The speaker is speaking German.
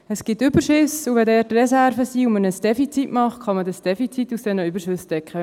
Es gibt Überschüsse, und wenn dort Reserven bestehen und man ein Defizit macht, kann man es aus diesen Überschüssen decken.